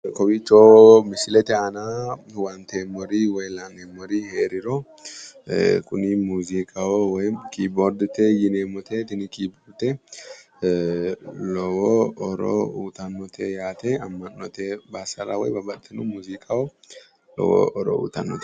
Kowiicho misilete aana huwanteemmori woyi la’eemmori heeriro kuni muuziiqaho woyim kiiboordete yineemmote. Tini kiiboorde lowo horo uuyitannote yaate. Amma’note bassara woy babbaxxino muuziiqaho lowo horo uuyitannote.